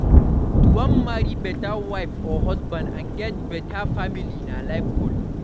To wan marry better wife or husband and get bettr family na life goal